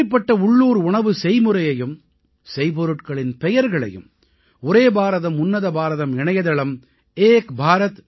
இப்படிப்பட்ட உள்ளூர் உணவு செய்முறையையும் செய்பொருட்களின் பெயர்களையும் ஒரே பாரதம் உன்னத பாரதம் இணையதளம் ekbharat